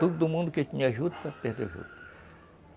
Todo mundo que tinha juta, perdeu juta.